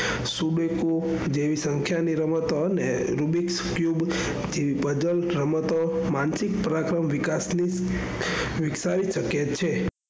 sudoku જેવી સંખ્યા ની રમતો અને rubiq puzzle રમતો રમીને માનસિક વિકસાવી શકે છે.